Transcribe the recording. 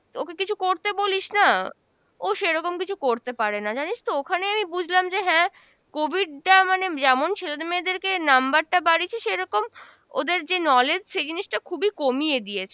ওকে কিছু করতে বলিস না, ও সেরকম কিছু করতে পারে না জানিস তো? ওখানে আমি বুঝলাম যে হ্যাঁ COVID টা মানে যেমন ছেলেদের মেয়েদেরকে number টা বাড়িয়েছে সেরকম ওদের যে knowledge সে জিনিসটা খুবই কমিয়ে দিয়েছে।